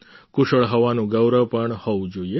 કુશળ હોવાનું ગૌરવ પણ હોવું જોઈએ